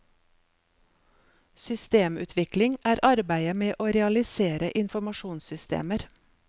Systemutvikling er arbeidet med å realisere informasjonssystemer.